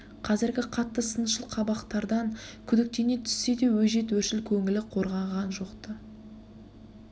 қазіргі қатты сыншыл қабақтардан күдіктене түссе де өжет өршіл көңілі қорғанған жоқ-ты